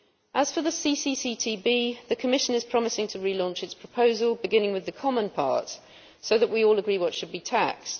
As for the CCCTB, the Commission is promising to relaunch its proposal, beginning with the common part, so that we all agree what should be taxed.